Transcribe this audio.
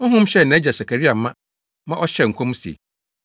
Honhom hyɛɛ nʼagya Sakaria ma ma ɔhyɛɛ nkɔm se,